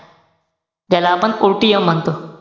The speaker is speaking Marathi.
ज्याला आपण OTM म्हणतो.